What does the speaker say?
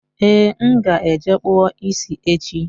Ee, m ga-eje kpụọ ịsị echi